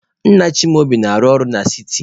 Nna Chimaobi na-arụ ọrụ na siti.